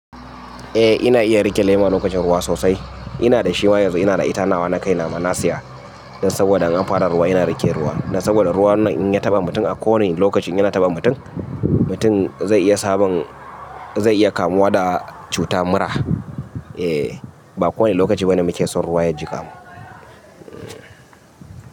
Eh ina iya riƙe laima lokacin ruwa sosai. Ina da shi ma yanzu ina da ita nawa na kai na ma na siya. Dan saboda an fara ruwa yana riƙe ruwa. Dan saboda ruwa nan in ya taɓa mutum a kowane lokacin yana taɓa mutum, mutum zai iya sabon zai iya kamuwa da cuta mura. Eh ba kowane lokaci ba ne muke son ruwa ya ji kamu.